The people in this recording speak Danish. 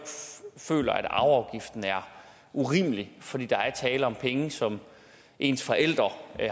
føler at arveafgiften er urimelig fordi der er tale om penge som ens forældre